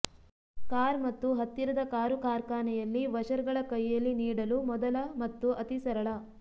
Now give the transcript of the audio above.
car ಮತ್ತು ಹತ್ತಿರದ car ಕಾರ್ಖಾನೆಯಲ್ಲಿ ವಷರ್ಗಳ ಕೈಯಲ್ಲಿ ನೀಡಲು ಮೊದಲ ಮತ್ತು ಅತಿ ಸರಳ